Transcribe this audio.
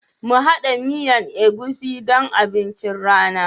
Mu hada miyan egusi don abincin rana.